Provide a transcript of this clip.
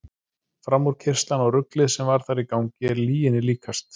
Framúrkeyrslan og ruglið sem þar var í gangi er lyginni líkast.